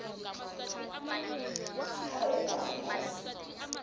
ha e ba ba se